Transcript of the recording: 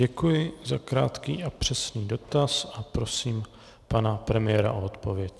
Děkuji za krátký a přesný dotaz a prosím pana premiéra o odpověď.